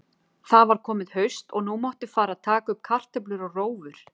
Það var komið haust og nú mátti fara að taka upp kartöflur og rófur.